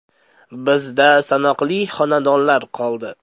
Bizda sanoqli xonadonlar qoldi!